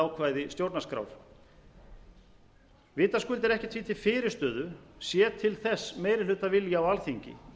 ákvæði stjórnarskrár vitaskuld er ekkert því til fyrirstöðu sé til þess meirihlutavilji á alþingi